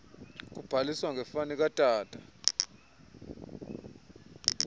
kubhaliswa ngefani katata